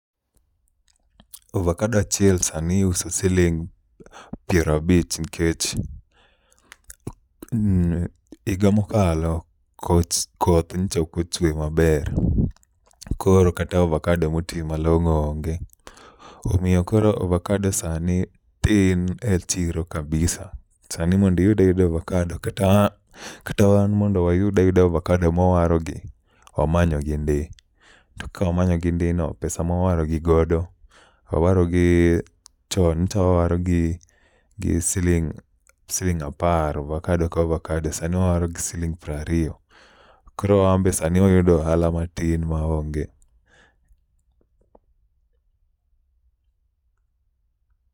Ovakado achiel sani iuso siling' pierabich nikech iga mokalo koch koth nyicha okochwe maber. Koro kata ovakado moti malong'o onge, omiyo koro ovakado sani tin e chiro kabisa. Sani mondiyud ayuda ovakado kata an kata wan mondo wayud ayuda ovakado mwawarogi, wamanyogi ndi. To ka wamanyogi ndi no, pesa mwawarogi godo, awarogi chon. Nyicha wawaro gi siling' apar, ovakadoka ovakado, sani wawaro gi siling' prariyo. Koro wambe sani wayudo ohala matin maonge.